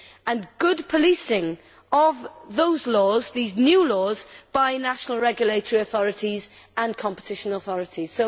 and good policing of these new laws by national regulatory authorities and competition authorities.